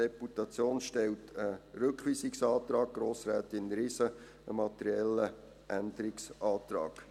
Die Deputation stellt einen Rückweisungsantrag, Grossrätin Riesen einen materiellen Änderungsantrag.